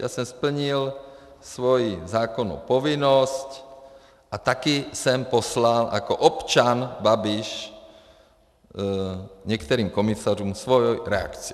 Já jsem splnil svoji zákonnou povinnost a taky jsem poslal jako občan Babiš některým komisařům svoji reakci.